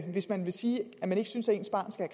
hvis man vil sige at man ikke synes at ens barn skal